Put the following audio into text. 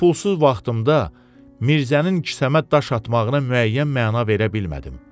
Bu pulsuz vaxtımda Mirzənin kisəmə daş atmağına müəyyən məna verə bilmədim.